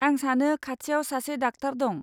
आं सानो, खाथियाव सासे डाक्टार दं।